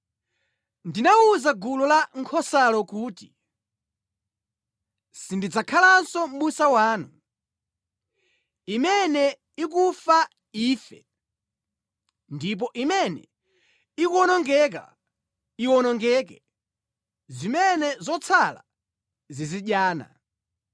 Ndinawuza gulu la nkhosalo kuti, “Sindidzakhalanso mʼbusa wanu. Imene ikufa, ife, ndipo imene ikuwonongeka, iwonongeke, zimene zatsala zizidyana.”